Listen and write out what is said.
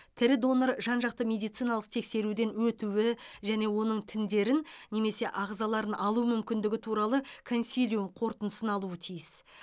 тірі донор жан жақты медициналық тексеруден өтуі және оның тіндерін немесе ағзаларын алу мүмкіндігі туралы консилиум қорытындысын алуы тиіс